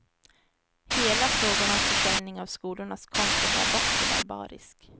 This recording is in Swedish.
Hela frågan om försäljning av skolornas konst är barock och barbarisk.